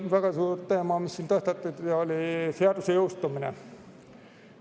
Väga suur teema, mis siin tõstatati, oli seaduse jõustumine.